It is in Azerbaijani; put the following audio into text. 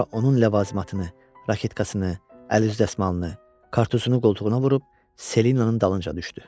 Sonra onun ləvazimatını, raketkasını, əl dəsmalını, kartusunu qoltuğuna vurub Selinanın dalınca düşdü.